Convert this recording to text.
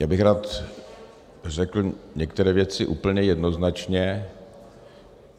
Já bych rád řekl některé věci úplně jednoznačně.